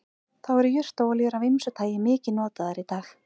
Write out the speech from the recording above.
þá eru jurtaolíur af ýmsu tagi mikið notaðar í dag